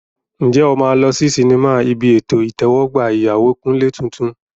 Ǹjẹ́ o máa lọ sí sinimá ibi ètò ìtẹ́wọ́gbà ìyàwó Kunle tuntun?